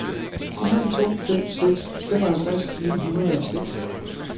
fire to fem seks femoghalvtreds ni hundrede og seks